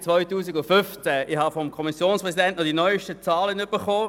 Ich habe vom Kommissionspräsidenten die neusten Zahlen erhalten.